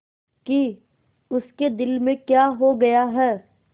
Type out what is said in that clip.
कि उसके दिल में क्या हो गया है